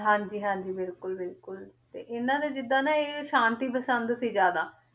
ਹਾਂਜੀ ਹਾਂਜੀ ਬਿਲਕੁਲ ਬਿਲਕੁਲ ਤੇ ਇਹਨਾਂ ਦੇ ਜਿੱਦਾਂ ਨਾ ਇਹ ਸ਼ਾਂਤੀ ਪਸੰਦ ਸੀ ਜ਼ਿਆਦਾ,